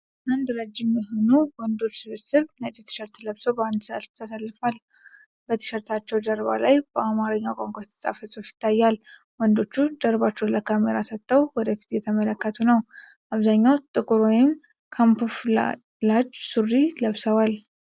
አንድ ረጅም የሆኑ ወንዶች ስብስብ ነጭ ቲሸርት ለብሶ በአንድ ረድፍ ተሰልፏል። በቲሸርታቸው ጀርባ ላይ በአማርኛ ቋንቋ የተጻፈ ጽሑፍ ይታያል። ወንዶቹ ጀርባቸውን ለካሜራ ሰጥተው ወደ ፊት እየተመለከቱ ነው። አብዛኛዎቹ ጥቁር ወይም ካሙፍላጅ ሱሪ ለብሰዋል።